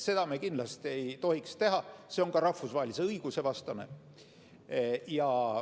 Seda me kindlasti ei tohiks teha, see on ka rahvusvahelise õiguse vastane.